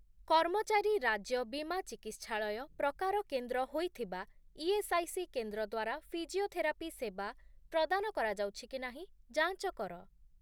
କର୍ମଚାରୀ ରାଜ୍ୟ ବୀମା ଚିକିତ୍ସାଳୟ' ପ୍ରକାର କେନ୍ଦ୍ର ହୋଇଥିବା ଇଏସ୍ଆଇସି କେନ୍ଦ୍ର ଦ୍ୱାରା ଫିଜିଓଥେରାପି ସେବା ପ୍ରଦାନ କରାଯାଉଛି କି ନାହିଁ ଯାଞ୍ଚ କର ।